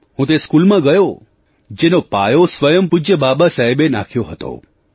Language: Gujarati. હું તે સ્કૂલમાં ગયો જેનો પાયો સ્વયં પૂજ્ય બાબાસાહેબે નાખ્યો હતો